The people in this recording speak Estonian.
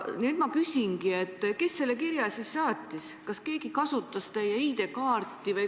Nüüd ma küsingi, kes selle kirja siis saatis, kas keegi kasutas teie ID-kaarti.